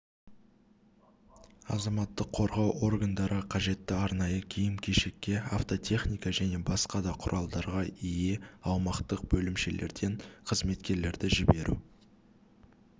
азаматтық қорғау органдары қажетті арнайы киім-кешекке автотехникаға және басқа да құралдарға ие аумақтық бөлімшелерден қызметкерлерді жіберу